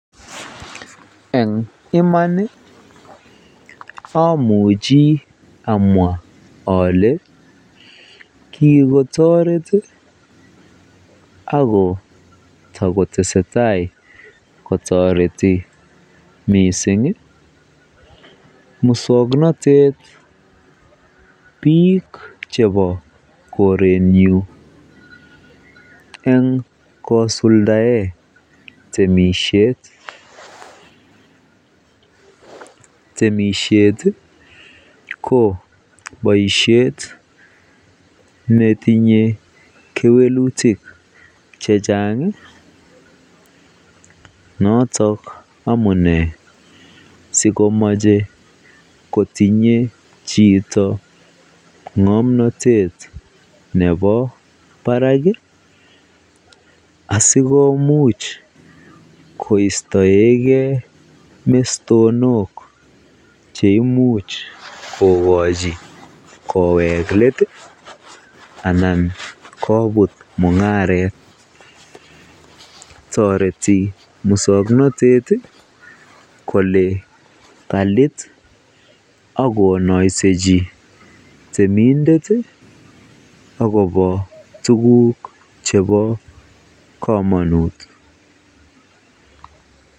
Eng iman amuchi amwaa olee kikotoret ak ko tokotesetai kotoreti mising muswoknotet biik chebo korenyun eng kosuldaen temishet, temishet ko boishet netinye kewelutik chechang notok amune sikomoche kotinye chito ngomnotet nebo barak asikomuch koistoeke mestonok cheimuch kokochi kowek leet anan kobut mungaret, toreti muswoknotet kolee kaliit ak konoisechi temindet ak kobo tukuk chebokomonut.